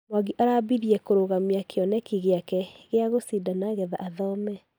Mwangi arambirie kurugamia kĩoneki giake gĩa gũshidana nĩ getha athome .